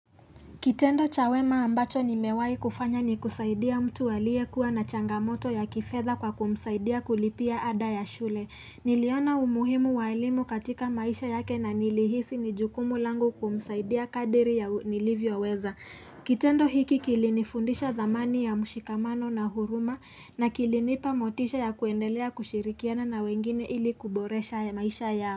Kitendo cha wema ambacho nimewai kufanya ni kusaidia mtu aliekuwa na changamoto ya kifedha kwa kumsaidia kulipia ada ya shule. Niliona umuhimu wa elimu katika maisha yake na nilihisi ni jukumu langu kumsaidia kadri ya nilivyo weza. Kitendo hiki kilinifundisha dhamani ya mshikamano na huruma na kilinipa motisha ya kuendelea kushirikiana na wengine ili kuboresha maisha yao.